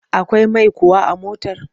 Akwai mai kuwa a motar?